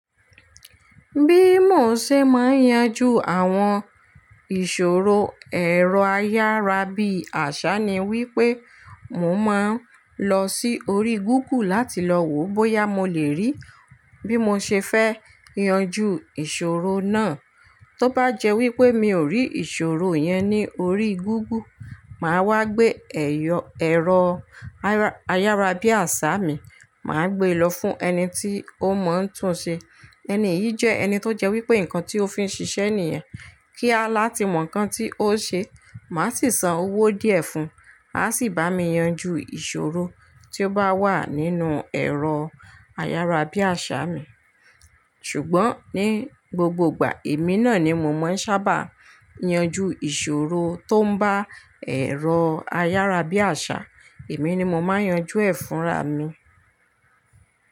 Bí mo ṣe máa ń yanjú àwọn ìṣòro ẹ̀rọ a yára bí àṣá ni wípé, mo máa ń lọ sí orí gúgù láti lọ wo bóyá mo lè rí bí mo ṣe fẹ́ yanjú ìṣòro náà. Tóbá jẹ́ wípé mi ò rí ìṣòro yẹn ní orí google, màá wá gbé ẹ̀rọ ayárabíàṣà mi, màá gbé lọ fún ẹni tí ó mọ̀ n tún ṣe. Ẹni yìí jẹ́ ẹni tó jẹ́ wípé nǹkan tí ó fi ń ṣiṣẹ́ nìyẹn. Kíá láti mọ̀ nǹkan tí ó ṣe, màá sì san owó díẹ̀ fún un, a sì bá mi yanjú ìṣòro tí ó bá wà nínú ẹ̀rọ ayárabíàṣà mi. Ṣùgbọ́n ní gbogbo ìgbà, èmi náà ni mo máa ń sábà yanjú ìṣòro tó ń bá ẹ̀rọ ayárabíàṣà, èmi ni mo máa ń yanjú ẹ̀ fúnra mi.